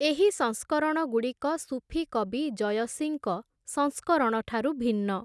ଏହି ସଂସ୍କରଣଗୁଡ଼ିକ ସୁଫି କବି ଜୟସିଙ୍କ ସଂସ୍କରଣଠାରୁ ଭିନ୍ନ ।